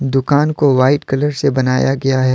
दुकान को white colour से बनाया गया है।